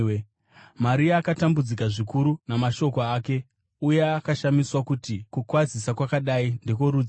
Maria akatambudzika zvikuru namashoko ake uye akashamiswa kuti kukwazisa kwakadai ndekworudzii.